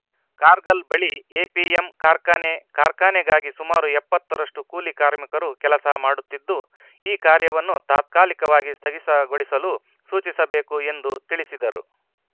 ಕಾರ್ಗಲ್‌ ಬಳಿ ಎಂಪಿಎಂ ಕಾರ್ಖಾನೆ ಕಾರ್ಖಾನೆಗಾಗಿ ಸುಮಾರು ಎಪ್ಪತ್ತ ರಷ್ಟುಕೂಲಿ ಕಾರ್ಮಿಕರು ಕೆಲಸ ಮಾಡುತ್ತಿದ್ದು ಈ ಕಾರ್ಯವನ್ನು ತಾತ್ಕಾಲಿಕವಾಗಿ ಸ್ಥಗಿತಗೊಳಿಸಲು ಸೂಚಿಸಬೇಕು ಎಂದು ತಿಳಿಸಿದರು